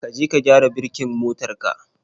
ka je ka gyara birkin motar ka.